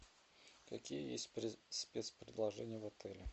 какие есть спецпредложения в отеле